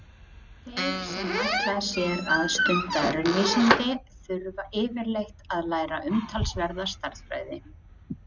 Þeir sem ætla sér að stunda raunvísindi þurfa yfirleitt að læra umtalsverða stærðfræði.